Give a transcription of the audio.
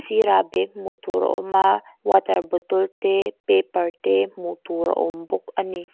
sirah bag hmuh tur a awm a water bottle te paper te hmuh tur a awm bawk a ni.